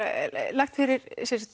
lagt fyrir